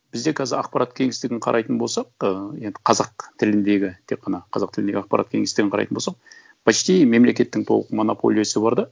бізде қазір ақпарат кеңістігін қарайтын болсақ ы енді қазақ тіліндегі тек қана қазақ тіліндегі ақпарат кеңістігін қарайтын болсақ почти мемлекеттің толық монополиясы бар да